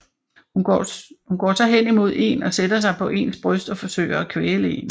Hun går så henimod én og sætter sig på ens bryst og forsøger at kvæle én